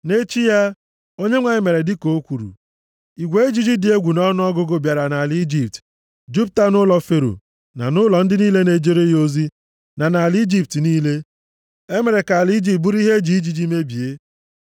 Nʼechi ya, Onyenwe anyị mere dịka o kwuru. Igwe ijiji dị egwu nʼọnụọgụgụ bịara nʼala Ijipt, jupụta nʼụlọ Fero, na nʼụlọ ndị niile na-ejere ya ozi, na nʼala Ijipt niile. E mere ka ala Ijipt bụrụ ihe e ji ijiji mebie.